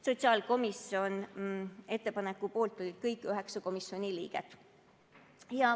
Sotsiaalkomisjoni ettepaneku poolt olid kõik 9 komisjoni liiget.